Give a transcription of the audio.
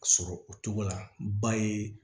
Sɔrɔ o cogo la ba ye